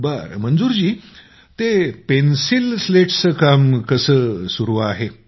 बरं ते पेन्सील स्लेट्सचं काम कसं चालू आहे